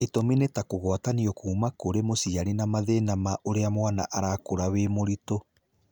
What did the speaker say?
Itũmi nĩ ta kũgwatanio kuma kũrĩ mũciari na mathĩna ma ũrĩa mwana arakũra wĩ mũritũ.